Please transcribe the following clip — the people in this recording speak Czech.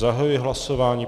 Zahajuji hlasování.